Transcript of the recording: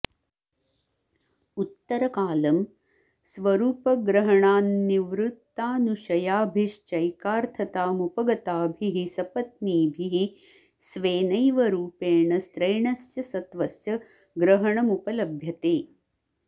उत्तरकालं स्वरूपग्रहणान्निवृत्तानुशयाभिश्चैकार्थतामुपगताभिः सपत्नीभिः स्वेनैव रूपेण स्त्रैणस्य सत्त्वस्य ग्रहणमुपलभ्यते